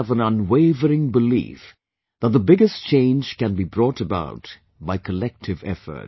I have an unwavering belief that the biggest change can be brought about by collective effort